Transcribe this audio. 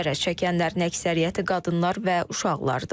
Zərər çəkənlərin əksəriyyəti qadınlar və uşaqlardır.